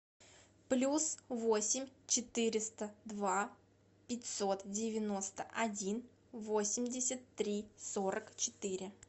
плюс восемь четыреста два пятьсот девяносто один восемьдесят три сорок четыре